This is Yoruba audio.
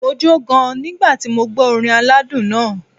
Mo jó gan-an nígbà tí mo gbó orin aládùn náà.